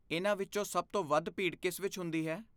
ਇਹਨਾਂ ਵਿੱਚੋਂ ਸਭ ਤੋਂ ਵੱਧ ਭੀੜ ਕਿਸ ਵਿੱਚ ਹੁੰਦੀ ਹੈ?